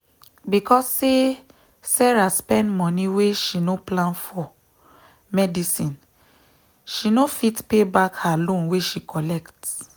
because say sarah spend moni wey she no plan for medicineshe no fit pay back her loan wey she collect.